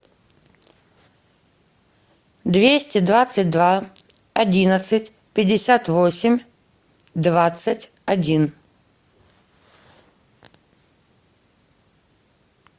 двести двадцать два одиннадцать пятьдесят восемь двадцать один